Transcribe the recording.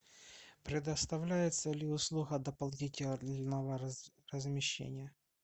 предоставляется ли услуга дополнительного размещения